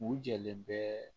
U jɛlen bɛɛ